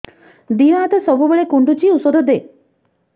ଦିହ ହାତ ସବୁବେଳେ କୁଣ୍ଡୁଚି ଉଷ୍ଧ ଦେ